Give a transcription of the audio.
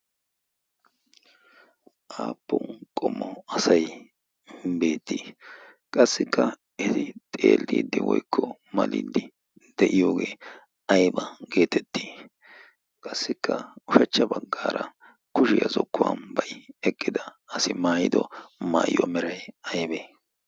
aappun qomo asai beettii qassikka eti xeeldiiddi woikko maliddi de'iyoogee aiba' geetettii qassikka ushachcha baggaara kushiyaa zokkuwan bai eqqida asi maayido maayiyuwaa meray aybee?